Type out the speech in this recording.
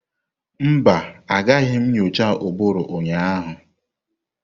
Mba, Agaghị m nyocha ụbụrụ ụnyaahụ.